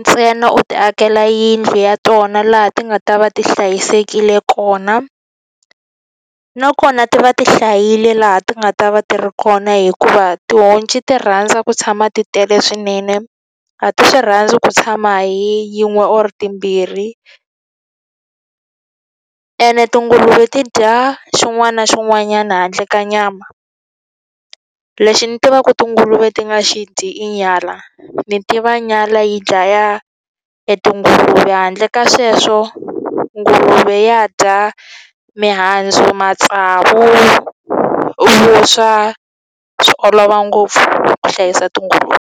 ntsena u ti akela yindlu ya tona laha ti nga ta va ti hlayisekile kona. Nakona ti va ti hlayile laha ti nga ta va ti ri kona hikuva tihonci ti rhandza ku tshama ti tele swinene, a ti swi rhandzi ku tshama hi yin'we or timbirhi. Ene tinguluve ti dya xin'wana na xin'wanyana handle ka nyama. Lexi ni tiva ku tinguluve ti nga xi dyi i nyala, ni tiva nyala yi dlaya e tinguluve. Handle ka sweswo nguluve ya dya mihandzu, matsavu, vuswa, swi olova ngopfu ku hlayisa tinguluve.